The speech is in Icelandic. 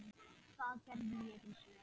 Það gerði ég hins vegar.